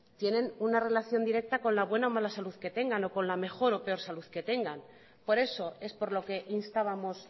tienen una relación directa con la buena o mala salud que tengan o con la mejor o peor salud que tengan por eso es por lo que instábamos